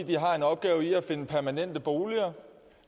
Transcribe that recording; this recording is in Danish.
de har en opgave med at finde permanente boliger